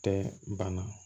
Tɛ bana